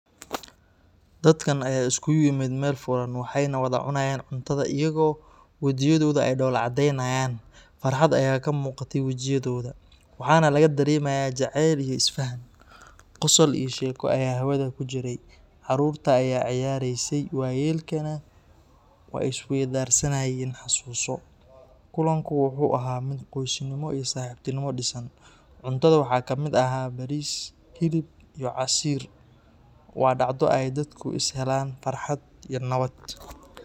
Dadka ayaa isugu yimid meel furan, waxayna wada cunayeen cuntada iyaga oo wejiyadoodu ay dhoola caddeynayaan. Farxad ayaa ka muuqatay wajiyadooda, waxaana laga dareemayay jacayl iyo isfaham. Qosol iyo sheeko ayaa hawada ku jiray, caruurta ayaa ciyaaraysay, waayeelkana way is weydaarsanayeen xasuuso. Kulanku wuxuu ahaa mid qoysnimo iyo saaxiibtinimo dhisan. Cuntada waxaa ka mid ahaa bariis, hilib iyo casiir. Waa dhacdo ay dadku isla helaan farxad iyo nabad.